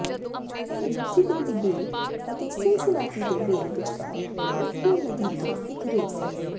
ਇਹ ਲੂਸੀਵਿਲ ਦੀ ਬੇਲ ਅਤੇ ਸਿਨਸਿਨਾਟੀ ਦੇ ਬੇਲ ਵਿਚਕਾਰ ਓਹੀਓ ਨਦੀ ਤੋਂ ਇੱਕ ਰੇਸ ਹੈ